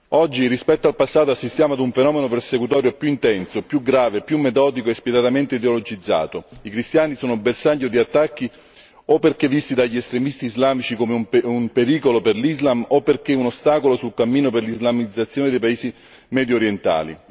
Oggi, rispetto al passato, assistiamo ad un fenomeno persecutorio più intenso, più grave, più metodico e spietatamente ideologizzato. I cristiani sono bersaglio di attacchi perché visti dagli estremisti islamici o come un pericolo per l'Islam o come un ostacolo sul cammino per l'islamizzazione dei paesi mediorientali.